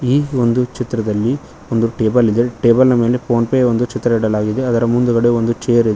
ಈ ಒಂದು ಚಿತ್ರದಲ್ಲಿ ಒಂದು ಟೇಬಲ್ ಇದೆ ಟೇಬಲ್ ನ ಮೇಲೆ ಫೋನ್ ಪೇ ಒಂದು ಚಿತ್ರ ಇಡಲಾಗಿದೆ ಅದರ ಮುಂದುಗಡೆ ಒಂದು ಚೇರ್ ಇದೆ.